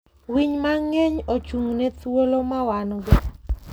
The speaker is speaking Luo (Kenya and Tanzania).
Winy mang'eny ochung'ne thuolo ma wan-go.